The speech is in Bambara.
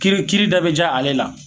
Kiiri kiiri da be ja ale la